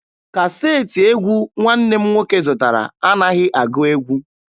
Kaseetị egwu nwanne m nwoke zụtara anaghị agụ egwu.